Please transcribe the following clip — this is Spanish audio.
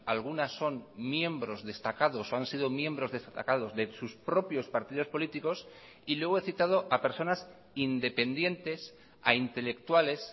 algunas son miembros destacados o han sido miembros destacados de sus propios partidos políticos y luego he citado a personas independientes a intelectuales